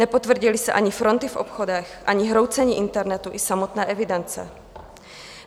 Nepotvrdily se ani fronty v obchodech, ani hroucení internetu i samotné evidence.